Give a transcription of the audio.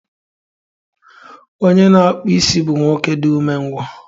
Onye na-akpụ isi bụ nwoke dị umengwụ